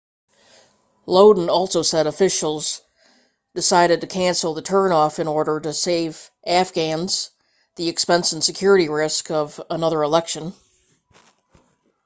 lodin also said officials decided to cancel the runoff in order to save afghans the expense and security risk of another election